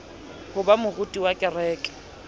ho ba moruti wa kereke